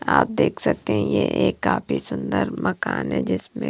आप देख सकते हैं ये एक काफी सुंदर मकान है जिसमें--